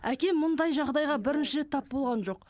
әкем мұндай жағдайға бірінші рет тап болған жоқ